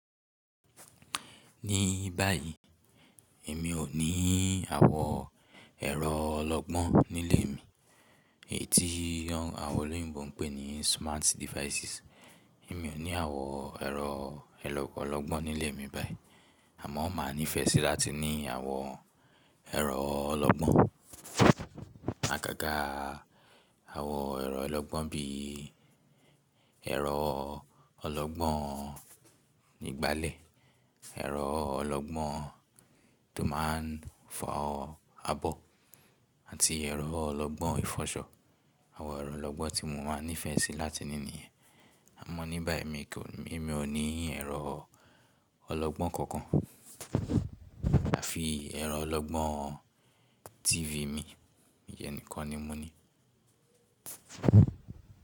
Ní báyìí, èmi ò níí àwọ ẹ̀rọ ọlọgbọ́n nílé mi, èyí tí àwọn olóyìnbo ń pè ní smart devices. Èmi ò ní àwọ ẹ̀rọ ọlọgbọ́n nílé mi báyìí, àmọ́ máa nífẹ̀ẹ́ sí láti ní àwọ ẹ̀rọ ọlọgbọ́n. Àgàgà àwọn ẹ̀rọ ọlọgbọ́n bí ẹ̀rọ ọlọgbọ́n ìgbálẹ̀, ẹ̀rọ ọlọgbọ́n tó máa ń fọ abọ́ àti ẹ̀rọ ọlọgbọ́n ìfọṣọ. Àwọ ẹ̀rọ ọlọgbọ́n tí mo máa nífẹ̀ẹ́ sí láti ní nìyẹn, àmọ́ ní báyìí èmi kò ní, èmi ò ní ẹ̀rọ ọlọgbọ́n kankan àfi ẹ̀rọ ọlọgbọ́n TV mi, ìyẹn nìkan ni mo ní.